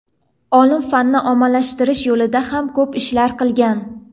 Olim fanni ommaviylashtirish yo‘lida ham ko‘p ishlar qilgan.